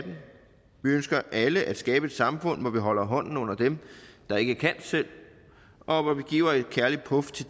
ønsker alle at skabe et samfund hvor vi holder hånden under dem der ikke kan selv og hvor vi giver et kærligt puf til